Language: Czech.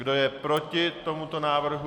Kdo je proti tomuto návrhu?